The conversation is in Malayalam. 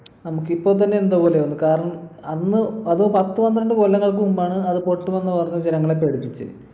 നമുക്കിപ്പോ തന്നെ എന്തോ പോലെയാവുന്നു കാരണം അന്ന് അത് പത്ത് പന്ത്രണ്ട് കൊല്ലങ്ങൾക്ക് മുമ്പാണ് അത് പൊട്ടും എന്ന് പറഞ്ഞു ജനങ്ങളെ പേടിപ്പിച്ചത്